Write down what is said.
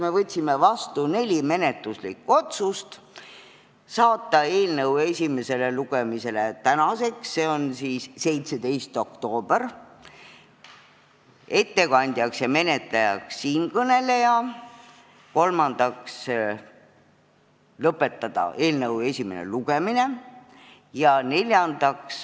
Me võtsime vastu neli menetluslikku otsust: saata eelnõu esimesele lugemisele tänaseks, s.o 17. oktoobriks, ettekandjaks ja menetlejaks määrata siinkõneleja ning lõpetada eelnõu esimene lugemine.